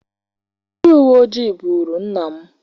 Ndị uweojii buuru nna m.